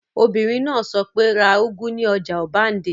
Obìnrin náà sọ pé, 'ra úgú ní ọjà ọbándẹ́!